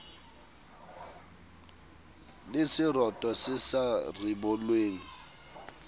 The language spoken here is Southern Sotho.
le seroto se sa ribollweng